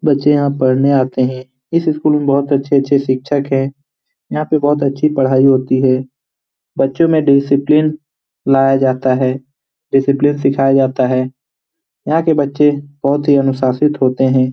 बच्चे यहाँ पढ़ने आते है | इस स्कूल में बहुत अच्छे अच्छे शिक्षक है यहाँ पे बहुत अच्छे पढ़ाई होती है बच्चो में डिसिप्लिन लाया जाता है डिसिप्लिन सिखाया जाता है यहाँ के बच्चे बहुत ही अनुशासित होते है ।